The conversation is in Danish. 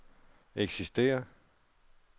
eksisterer